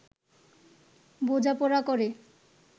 বোঝাপড়া করে